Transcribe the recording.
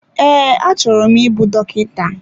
Ee, achọrọ m ịbụ dọkịta.